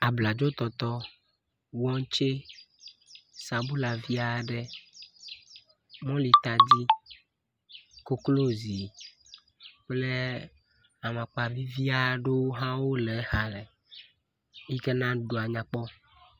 Abladzo toto, watsɛ, sabola vi aɖe, mɔli tadi koklozi, kple amakpa vivi aɖewo le exa ɖe yi ken a be nuɖuɖua nyakpɔ.